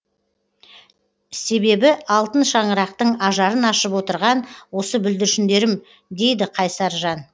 себебі алтын шаңырақтың ажарын ашып отырған осы бүлдіршіндерім дейді қайсар жан